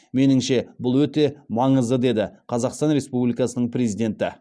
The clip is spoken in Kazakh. меніңше бұл өте маңызды деді қазақстан республикасының президенті